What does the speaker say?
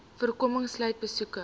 voorkoming sluit besoeke